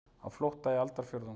Á flótta í aldarfjórðung